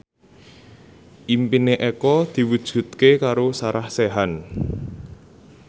impine Eko diwujudke karo Sarah Sechan